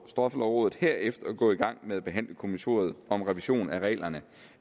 straffelovrådet herefter gå i gang med at behandle kommissoriet om revision af reglerne